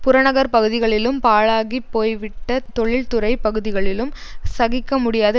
புறநகர் பகுதிகளிலும் பாழாகிப் போய்விட்டதொழில் துறை பகுதிகளிலும் சகிக்க முடியாத